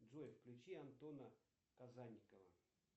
джой включи антона казанникова